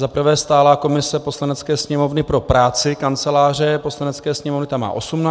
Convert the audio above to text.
Za prvé stálá komise Poslanecké sněmovny pro práci Kanceláře Poslanecké sněmovny, ta má 18 členů.